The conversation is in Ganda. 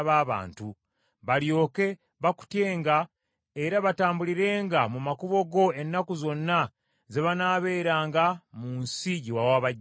balyoke bakutyenga, era batambulirenga mu makubo go ennaku zonna ze banaabeeranga mu nsi gye wawa bajjajjaffe.